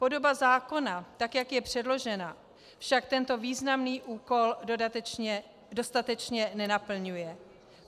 Podoba zákona, tak jak je předložena, však tento významný úkol dostatečně nenaplňuje.